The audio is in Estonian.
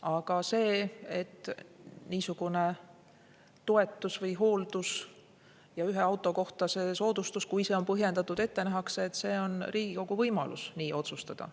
Aga see, et niisugune toetus või hooldus ja ühe auto kohta soodustus, kui see on põhjendatud, ette nähakse, on Riigikogus võimalik otsustada.